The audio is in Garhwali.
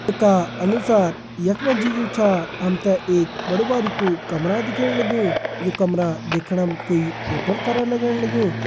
का अनुसार यखमा जी यु छा हमते एक बडु बारिकु कमरा दिख्येण लगयूं यू कमरा दिखणम कोई होटल करा लगण लगयूं।